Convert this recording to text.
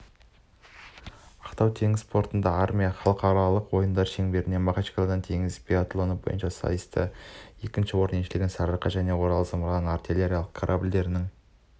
ақтау теңіз портында армия халықаралық ойындары шеңберінде махачкалада теңіз биатлоны бойынша сайыста екінші орынды еншілеген сарыарқа және орал зымыран артиллериялық корабльдерінің